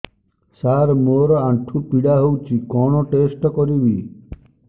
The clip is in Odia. ସାର ମୋର ଆଣ୍ଠୁ ପୀଡା ହଉଚି କଣ ଟେଷ୍ଟ କରିବି